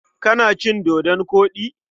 Kana cin dodon koɗi?